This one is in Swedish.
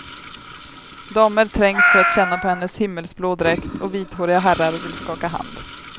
Damer trängs för att känna på hennes himmelsblå dräkt och vithåriga herrar vill skaka hand.